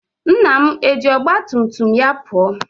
Nna m eji ọgba tum tum ya pụọ?